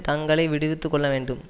தங்களை விடுவித்து கொள்ள வேண்டும்